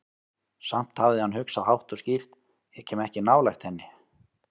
Samt hafði hann hugsað, hátt og skýrt: Ég kem ekki nálægt henni.